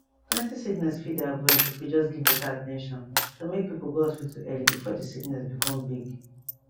plenty sickness fit dey avoid if we just give better at ten tion to make people go hospital early before the sickness become big